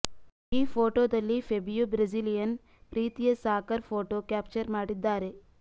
ಈ ಫೋಟೋದಲ್ಲಿ Fabio Brazilian ಪ್ರೀತಿಯ ಸಾಕರ್ ಫೋಟೋ ಕ್ಯಾಪ್ಚರ್ ಮಾಡಿದ್ದಾರೆ